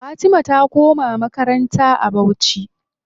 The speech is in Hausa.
Fatima ta koma makaranta a bauchi.